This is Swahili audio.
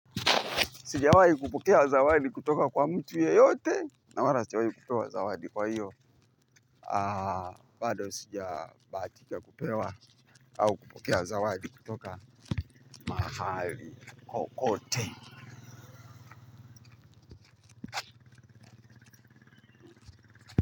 Sijawahi kupokea zawadi kutoka kwa mtu yoyote, na wala sijawahi kutoa zawadi kwa hiyo. Bado sija bahatika kupewa, au kupokea zawadi kutoka mahali kokote.